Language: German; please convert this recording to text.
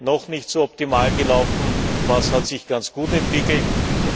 noch nicht so optimal gelaufen ist und was sich ganz gut entwickelt hat.